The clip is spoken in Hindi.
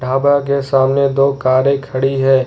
ढाबा के सामने दो कारें खड़ी हैं।